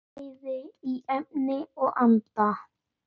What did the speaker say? Bæði í efni og anda.